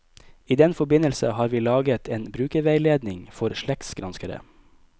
I den forbindelse har vi laget en brukerveiledning for slektsgranskere.